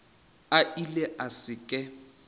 a ile a se ke